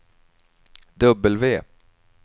W